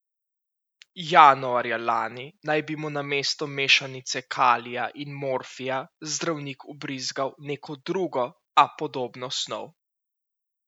Januarja lani naj bi mu namesto mešanice kalija in morfija zdravnik vbrizgal neko drugo, a podobno snov.